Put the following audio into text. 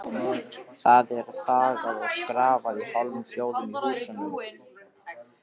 Það er þagað og skrafað í hálfum hljóðum í húsunum.